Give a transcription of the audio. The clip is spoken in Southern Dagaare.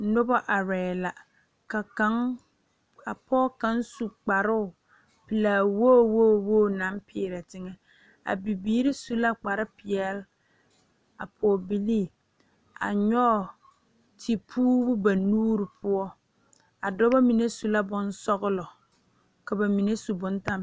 Noba are la.ka kaŋ a pɔge kaŋ su kparoo pelaa woo woo naŋ peerɛ teŋa a bibiiri su la kpar peɛle a pɔge bilii a kyɔge te puure ba nuure poɔ a dɔba mine su la bonsɔgelɔ ka ba mine su bomtɛmpeloŋ